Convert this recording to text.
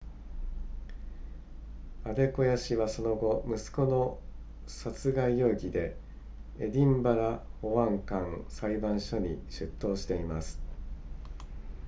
アデコヤ氏はその後息子の殺害容疑でエディンバラ保安官裁判所に出頭しています